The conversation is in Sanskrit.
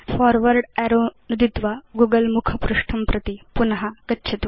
फॉर्वर्ड अरो नुदित्वा गूगल मुखपृष्ठं प्रति पुन गच्छतु